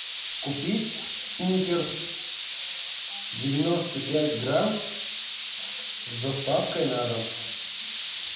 купить сникерс девяносто пять грамм с доставкой на дом